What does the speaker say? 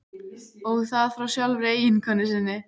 Og það frá sjálfri eiginkonu sinni.